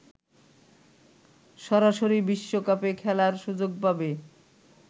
সরাসরি বিশ্বকাপে খেলার সুযোগ পাবে